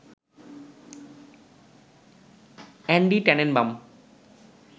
Andy Tanenbaum